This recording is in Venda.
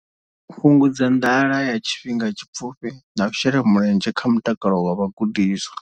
Fhungudza nḓala ya tshifhinga tshipfufhi na u shela mulenzhe kha mutakalo wa vhagudiswa.